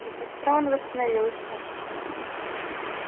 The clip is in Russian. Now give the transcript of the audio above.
и быстро он восстановился